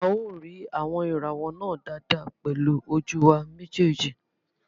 A ó rí àwọn ìràwọ̀ náà dáadáa pẹ̀lú ojú wa méjèèjì